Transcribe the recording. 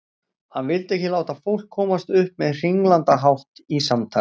Hann vildi ekki láta fólk komast upp með hringlandahátt í samtali.